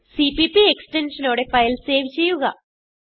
cpp extensionനോടെ file save ചെയ്യുക